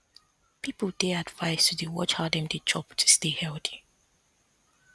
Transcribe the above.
people dey advised to dey watch how dem dey chop to stay healthy